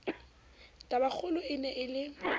tabakgolo e ne e le